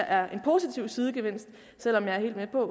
er en positiv sidegevinst selv om jeg er helt med på